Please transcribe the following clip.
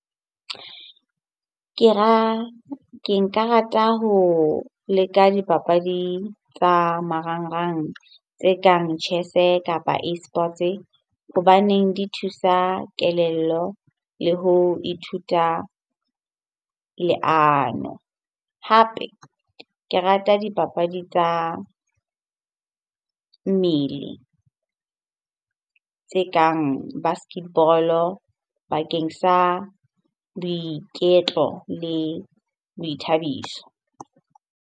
Ke ke nka rata ho leka dipapadi tsa marangrang tse kang chess-e kapa eSports hobaneng di thusa kelello le ho ithuta leano. Hape ke rata dipapadi tsa mmele tse kang basketball-o bakeng sa boiketlo le boithabiso.